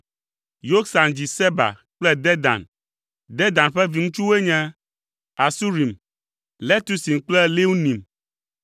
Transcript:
Yoksan dzi Seba kple Dedan. Dedan ƒe viŋutsuwoe nye: Asurim, Letusim kple Leunim.